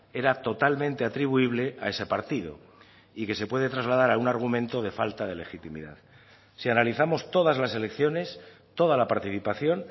era totalmente atribuible a ese partido y que se puede trasladar a un argumento de falta de legitimidad si analizamos todas las elecciones toda la participación